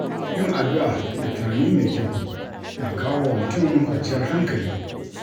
Yin addu’a da tunani mai kyau na kawo wa mutum kwanciyar hankali.